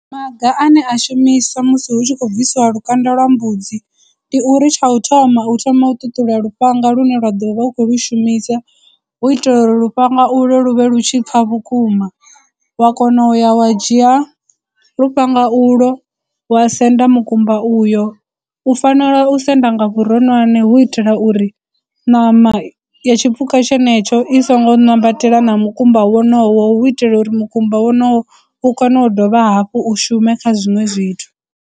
Maga ane a shumiswa musi hu tshi khou bvisiwa lukanda lwa mbudzi ndi uri tsha u thoma u thoma u ṱuṱula lufhanga lune wa ḓo vha u khou lu shumisa hu itela uri lufhanga ulo lu vhe lu tshi pfha vhukuma, wa kona uya wa dzhia lufhanga u lwo wa senda mukumba uyo. U fanela u senda nga vhuronwane hu itela uri ṋama ya tshipuka tshenetsho i songo ṋambatela na mukumba wonowo hu itela uri mukumba wonoyo u kone u dovha hafhu u shume kha zwiṅwe zwithu.